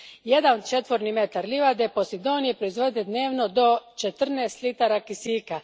Jedan četvorni metar livade Posidonije proizvodi dnevno do četrnaest litara kisika.